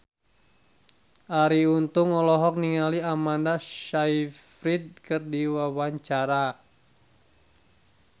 Arie Untung olohok ningali Amanda Sayfried keur diwawancara